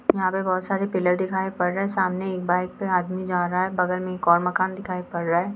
यहाँ पे बहुत सारे पिलर दिखाए पड़ रहे है सामने एक बाइक से आदमी जा रहा है बगल में एक और मकान दिखाई पड़ रहा है।